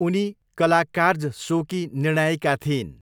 उनी कलाकार्ज सोकी निर्णायिका थिइन्।